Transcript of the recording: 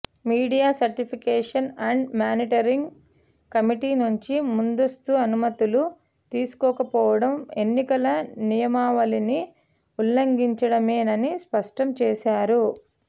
media certification and monitoring committee నుంచి ముందస్తు అనుమతులు తీసుకోకపోవడం ఎన్నికల నియమావళిని ఉల్లంఘించడమేనని స్పష్టం చేశారు